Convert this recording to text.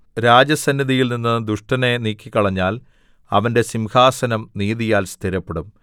രാജസന്നിധിയിൽനിന്ന് ദുഷ്ടനെ നീക്കിക്കളഞ്ഞാൽ അവന്റെ സിംഹാസനം നീതിയാൽ സ്ഥിരപ്പെടും